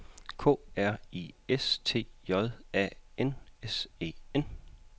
K R I S T J A N S E N